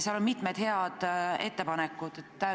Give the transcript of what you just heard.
Seal on mitu head ettepanekut.